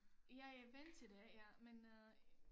Jeg er vant til det ja men øh